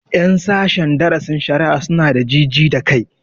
Ƴan sashen darasin shari'a su na da ji ji da kai